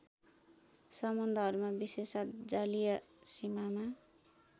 सम्बन्धहरूमा विशेषत जलीय सीमामा